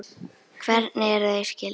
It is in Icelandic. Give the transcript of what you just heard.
Hvernig eru þau skyld?